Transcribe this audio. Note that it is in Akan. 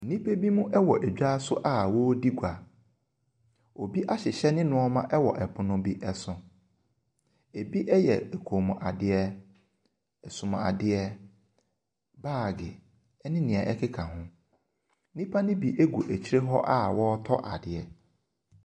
Nnipa binom wɔ dwa so a wɔredi gua. Obi ahyehyɛ ne nneɔma wɔ pono bi so. Bi yɛ kɔnmuadeɛ, asomuadeɛ, baage ne deɛ ɛkeka ho. Nnipa ne bi gu akyire hɔ a wɔretɔ adeɛ.